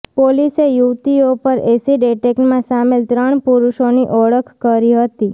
પોલીસે યુવતીઓ પર ઍસિડ ઍટેકમાં સામેલ ત્રણ પુરુષોની ઓળખ કરી હતી